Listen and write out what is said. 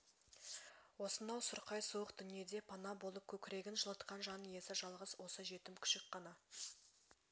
осынау сұрқай суық дүниеде пана болып көкірегін жылытқан жан иесі жалғыз осы жетім күшік қана